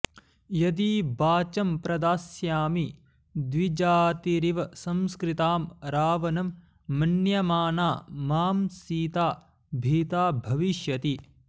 यदि बाचं प्रदास्यामि द्विजातिरिव संस्कृताम् रावणं मन्यमाना मां सीता भीता भविष्यति